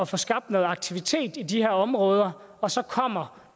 få skabt noget aktivitet i de her områder og så kommer